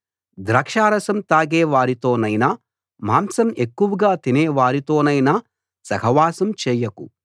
ద్రాక్షారసం తాగేవారితోనైనా మాంసం ఎక్కువగా తినే వారితోనైనా సహవాసం చేయకు